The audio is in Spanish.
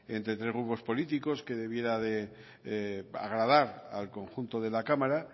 entre tres grupos políticos que debiera de agradar al conjunto de la cámara